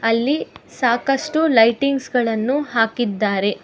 ಅಲ್ಲಿ ಸಾಕಷ್ಟು ಲೈಟಿಂಗ್ಸ್ ಗಳನ್ನು ಹಾಕಿದ್ದಾರೆ.